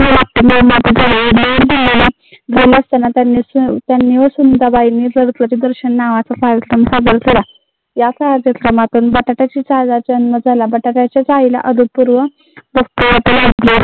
या कार्यक्रमातून